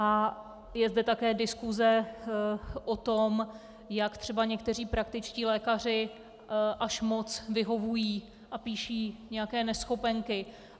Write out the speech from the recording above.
A je zde také diskuse o tom, jak třeba někteří praktičtí lékaři až moc vyhovují a píší nějaké neschopenky.